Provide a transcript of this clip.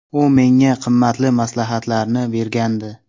U menga qimmatli maslahatlarni bergandi.